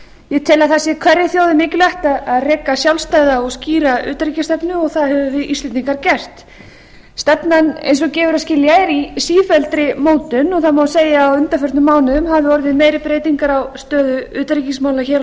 ég tel að það sé hverri þjóð mikilvægt að reka sjálfstæða og skýra utanríkisstefnu og það höfum við íslendingar gert stefnan eins og gefur að skilja er í sífelldri mótun og það má segja að á undanförnum mánuðum hafi orðið meiri breytingar á stöðu utanríkismála hér á